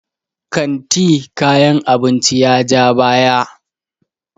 kanti kayan abinci ya ja baya